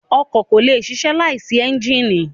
Ọkọ ko le sisẹ laisi ẹnjínì